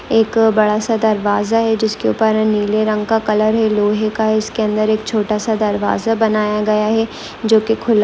एक बड़ा सा दरवाजा है जिसके ऊपर है नीले रंग का कलर है। लोहे का इसके अंदर एक छोटा सा दरवाजा बनाया गया है। जो कि खुला--